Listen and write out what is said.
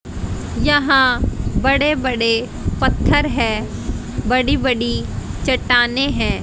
यहां बड़े बड़े पत्थर हैं। बड़ी बड़ी चट्टानें हैं।